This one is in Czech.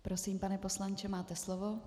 Prosím, pane poslanče, máte slovo.